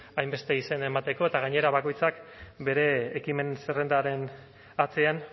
hainbeste izen emateko eta gainera bakoitzak bere ekimen zerrendaren atzean